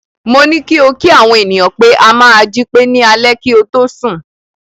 Mo ní kí o kí àwọn ènìyàn pé a máa jí pé ní alẹ́ kí o tó sùn.